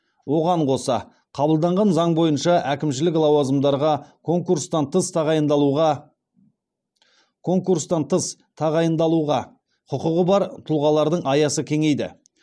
оған қоса қабылданған заң бойынша әкімшілік лауазымдарға конкурстан тыс тағайындалуға құқығы бар тұлғалардың аясы кеңейді